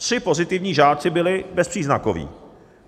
Tři pozitivní žáci byli bezpříznakoví.